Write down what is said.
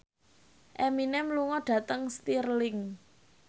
Eminem lunga dhateng Stirling